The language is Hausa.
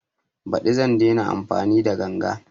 Baɗi zan daina amfani da ganga